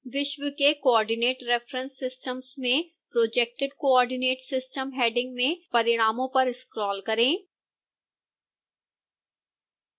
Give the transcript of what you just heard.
विश्व के coordinate reference systems में projected coordinate system हैंडिंग में परिणामों पर स्क्रोल करें